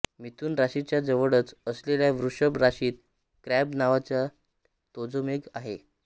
मिथुन राशीच्या जवळच असलेल्या वृषभ राशीत क्रॅब नावाचा तेजोमेघ आहे